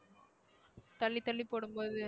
தள்ளி தள்ளி போடும் போது